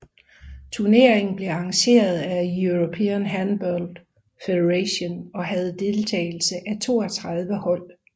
Turneringen blev arrangeret af European Handball Federation og havde deltagelse af 32 hold